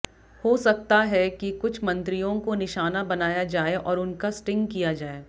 हो सकता है कि कुछ मंत्रियों को निशाना बनाया जाए और उनका स्टिंग किया जाए